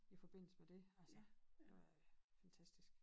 I forbindelse med dét altså det var øh fantastisk